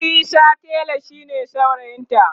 Isa tela shine saurayinta